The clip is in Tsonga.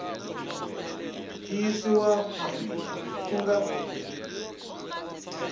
yi yisiwa mahlweni ku nga